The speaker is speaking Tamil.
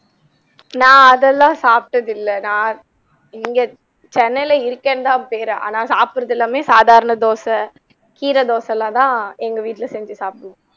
நா அதெல்லாம் சாப்பிட்டது இல்லை நா இங்கே சென்னைலே இருக்கேன்னுதான் பேரு ஆனா சாப்புட்றது எல்லாமே சாதாரண தோசை, கீரைதோசைலாம் தான் எங்க வீட்டிலே செஞ்சு சாப்பிடுவோம்